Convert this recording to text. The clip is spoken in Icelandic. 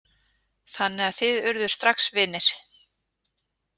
Þannig að þið urðuð strax vinir?